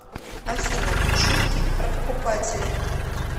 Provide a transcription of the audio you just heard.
афина шутки про покупателей